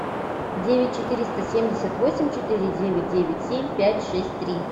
девять четыреста семьдесят восемь четыре девять девять семь пять шесть три